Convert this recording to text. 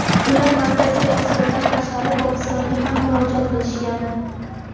ular Markaziy Osiyodan tashqari Pokistonga ham murojaat qilishgan.